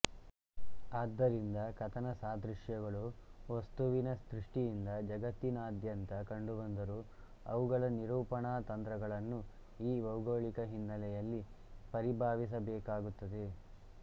ಆದ್ದರಿಂದ ಕಥನ ಸಾದೃಶ್ಯಗಳು ವಸ್ತುವಿನ ದೃಷ್ಟಿಯಿಂದ ಜಗತ್ತಿನಾದ್ಯಂತ ಕಂಡುಬಂದರೂ ಅವುಗಳ ನಿರೂಪಣಾತಂತ್ರಗಳನ್ನು ಈ ಭೌಗೋಳಿಕ ಹಿನ್ನೆಲೆಯಲ್ಲಿ ಪರಿಭಾವಿಸಬೇಕಾಗುತ್ತದೆ